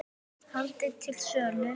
Handrit til sölu.